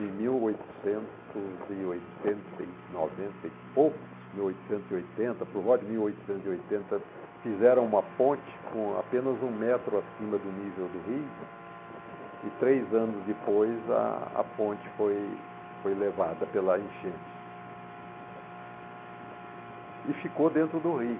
Em em mil oitocentos e oitenta e noventa e poucos, mil oitocentos e oitenta por volta de mil oitocentos e oitenta, fizeram uma ponte com apenas um metro acima do nível do rio e três anos depois a a ponte foi foi levada pela enchente e ficou dentro do rio.